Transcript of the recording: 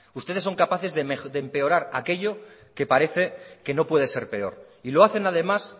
ustedes son capaces de empeorar aquello que parece que no puede ser peor y lo hacen además